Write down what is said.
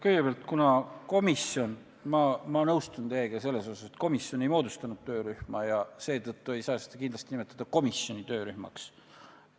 Kõigepealt, kuna komisjon ei moodustanud töörühma – ma nõustun teiega selles osas –, ei saa seda kindlasti nimetada komisjoni töörühmaks.